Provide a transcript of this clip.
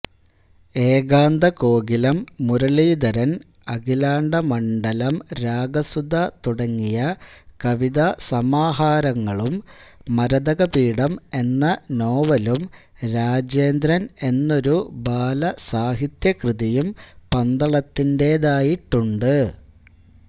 ഏകാന്തകോകിലം മുരളീധരൻ അഖിലാണ്ഡമണ്ഡലംരാഗസുധ തുടങ്ങിയ കവിതാസമാഹരങ്ങളും മരതകപീഠം എന്ന നോവലും രാജേന്ദ്രൻ എന്നൊരു ബാലസാഹിത്യകൃതിയും പന്തളത്തിന്റേതായിട്ടുണ്ട്